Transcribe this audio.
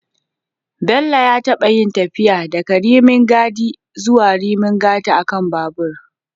Bello ya taɓa yin tafiya daga Rimin Gadi zuwa Rimin Gata a kan babur